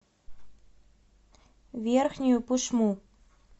верхнюю пышму